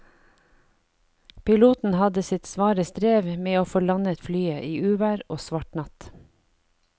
Piloten hadde sitt svare strev med å få landet flyet i uvær og svart natt.